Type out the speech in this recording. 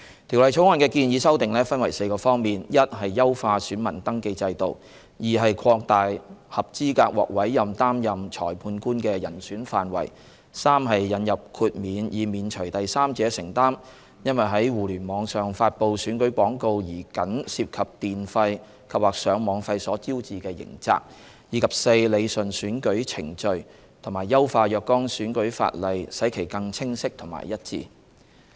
《條例草案》的建議修訂分為4個方面： a 優化選民登記制度； b 擴大合資格獲委任擔任審裁官的人選範圍； c 引入豁免以免除第三者承擔因在互聯網上發布選舉廣告而僅涉及電費及/或上網費所招致的刑責；及 d 理順選舉程序及優化若干選舉法例使其更清晰和一致。